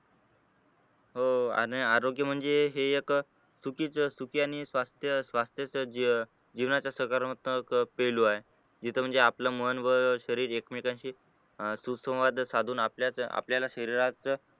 हो अं आरोग्य म्हणजे हे एक सुखिचं सुखि आणि स्वास्थ्य स्वास्थ्यच जे जीवनाचा सकारात्मक पैलू आहे जिथे म्हणजे आपलं मन व शरीर एकमेकांशी अं सुसंवाद साधून आपल्याच आपल्या शरीराचं